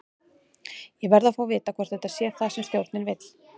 Ég verð að fá að vita hvort þetta sé það sem stjórinn vill?